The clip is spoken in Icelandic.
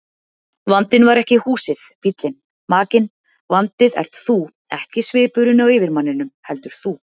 Vandinn var ekki húsið, bíllinn, makinn, vandinn ert þú, ekki svipurinn á yfirmanninum, heldur þú.